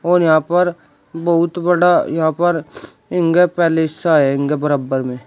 और यहां पर बहुत बड़ा यहां पर है इनका बराबर में।